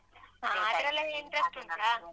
ಹ ಅದ್ರಲ್ಲೆಲ್ಲ interest ಉಂಟಾ?